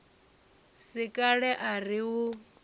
si kale a ri u